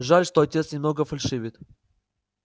жаль что отец немного фальшивит